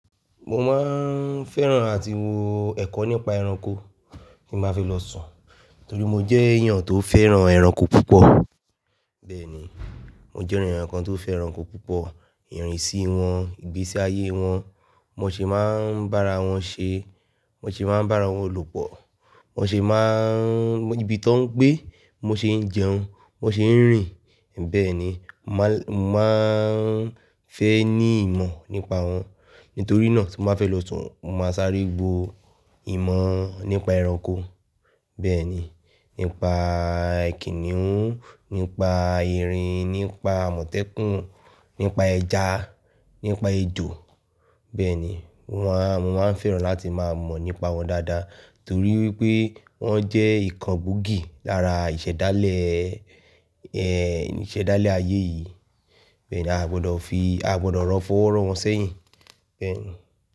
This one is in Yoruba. Mo máa ń fẹ́ràn áti wo ẹ̀kọ́ nípa ẹranko tí mo bá fẹ́ lọ sùn torí mo jẹ́ èèyàn tó fẹ́ràn ẹranko púpọ̀. Bẹ́ẹ̀ ni, mo jẹ́ ènìyàn kan tó fẹ́ ẹranko púpọ̀, ìrìn sí wọn, ìgbésí ayé wọn, bi won ṣe máa ń bára wọn ṣe, biwon ṣe máa ń bára wọn lopọ̀, bi won ṣe máa ń-- níbi tó ń gbé, bi won ṣe ń jẹun, bi won ṣe ń rìn. Bẹ́ẹ̀ ni, mà máa ń fẹ́ ní ìmọ̀ nípa wọn. Nítorí náà tí mo bá fẹ́ lọ sùn, mo máa sáré gbo ìmọ̀ nípa ẹranko. Bẹ́ẹ̀ ni, nípa kìnnìún, nípa erin, nípa amọ́tẹ́kùn, nípa ẹja, nípa ejò. Bẹ́ẹ̀ ni, wọ́n máa ń fẹ́ràn láti máa mọ̀ nípa wọn dáadáa torí wípé wọ́n jẹ́ ìkan gbòógì lára ìṣẹ̀dálẹ̀ ẹ, ìṣẹ̀dálẹ̀ ayé yìí. Bẹ́ẹ̀ ni a gbọdọ̀ fi, a gbọdọ̀ fọ́wọ́ro wọn sẹ́yìn. Bẹ́ẹ̀ ni.